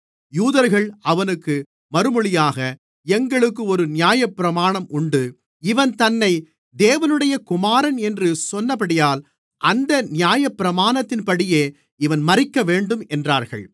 யூதர்கள் அவனுக்கு மறுமொழியாக எங்களுக்கு ஒரு நியாயப்பிரமாணம் உண்டு இவன் தன்னை தேவனுடைய குமாரன் என்று சொன்னபடியால் அந்த நியாயப்பிரமாணத்தின்படியே இவன் மரிக்க வேண்டும் என்றார்கள்